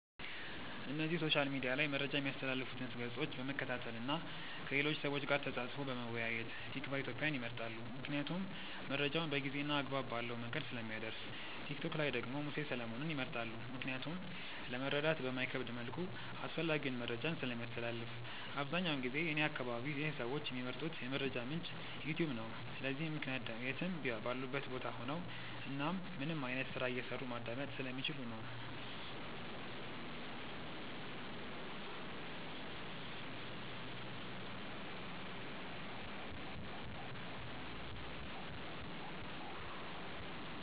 እነዚህ ሶሻል ሚድያ ላይ መረጃ ሚያስተላልፉትን ገፆች በመከታተል እና ከሌሎች ሰዎች ጋር ተፃፅፎ በመወያየት። ቲክቫ ኢትዮጵያን ይመርጣሉ ምክንያቱም መረጃውን በጊዜ እና አግባብ ባለው መንገድ ስለሚያደርስ። ቲክቶክ ላይ ደግሞ ሙሴ ሰለሞንን ይመርጣሉ ምክንያቱም ለመረዳት በማይከብድ መልኩ አስፈላጊውን መረጃን ስለሚያስተላልፍ። አብዛኛውን ጊዜ እኔ አከባቢ ይህ ሰዎች ሚመርጡት የመረጃ ምንጭ "ዩትዩብ" ነው። ለዚህም ምክንያት የትም ባሉበት ቦታ ሆነው እናም ምንም አይነት ስራ እየሰሩ ማዳመጥ ስለሚችሉ ነው።